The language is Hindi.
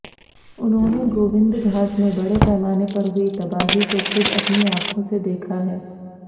उन्होंने गोविंदघाट में बड़े पैमाने पर हुई तबाही को खुद अपनी आंखों से देखा है